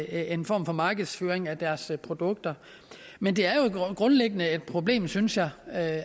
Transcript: en form for markedsføring af deres produkter men det er jo grundlæggende et problem synes jeg at